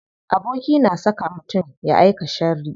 Aboki na iya saka mutum ya aika sharri.